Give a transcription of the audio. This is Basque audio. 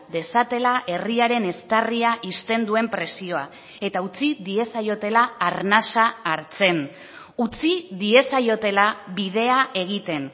dezatela herriaren eztarria ixten duen presioa eta utzi diezaiotela arnasa hartzen utzi diezaiotela bidea egiten